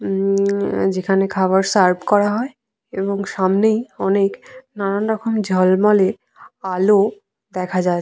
হমম যেখানে খাবার সার্ভ করা হয় এবং সামনেই অনেক নানান রকম ঝলমলে আলো দেখা যায়।